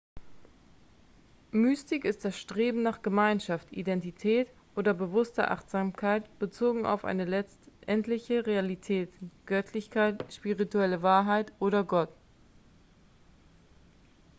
mystik ist das streben nach gemeinschaft identität oder bewusster achtsamkeit bezogen auf eine letztendliche realität göttlichkeit spirituelle wahrheit oder gott